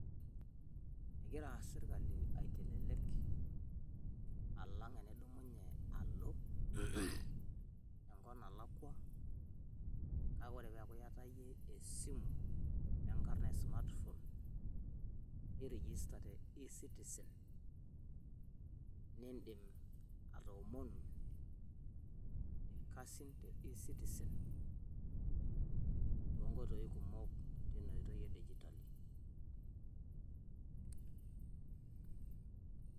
Egira sirkali aitelelek alang enidumunye alo enkop nalakua, kake wore yiee peaku yaata esimu enkarna e smart phone niregister te e-citizen nindim atoomonu ilkasi te ecitizen nindim atoomonu ilkasin te e-citizen